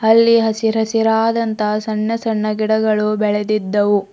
ಅಲ್ಲಿ ಹಸಿರಾದಂತಹ ಸಣ್ಣ ಸಣ್ಣ ಗಿಡಗಳು ಬೆಳೆದಿದ್ದವು.